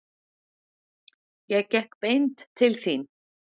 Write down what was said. Ég gekk beint til þín.